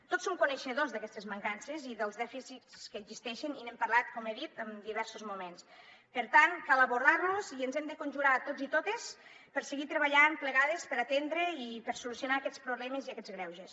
tots som coneixedors d’aquestes mancances i dels dèficits que existeixen i n’hem parlat com he dit en diversos moments per tant cal abordar los i ens hem de conjurar tots i totes per seguir treballant plegades per atendre i per solucionar aquests problemes i aquests greuges